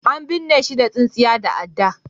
an binne shi da tsintsiya da adda